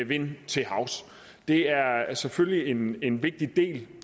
vind til havs det er selvfølgelig en en vigtig del